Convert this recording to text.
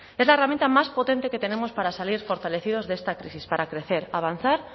es la herramienta más potente que tenemos para salir fortalecidos de esta crisis para crecer avanzar